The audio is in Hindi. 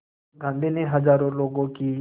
गांधी ने हज़ारों लोगों की